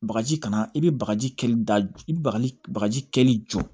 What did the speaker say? Bakaji kana i be bagaji kɛli da i bɛ bagaji kɛli jɔ